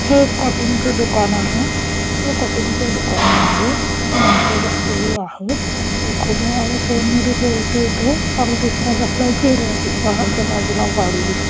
हे कटिंग च दुकान आहे हे कटिंग च्या दुकानामध्ये माणस बसलेली आहेत फोन मध्ये बोलतोय तो आणि दुसरा बसलाय चेयर वरतीच्या बाजूला गाडी दिसते.